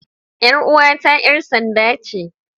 Yar uwata 'yar sanda ce.